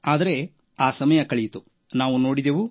ಆದರೆ ಆ ಸಮಯ ಕಳೆದಂತೆ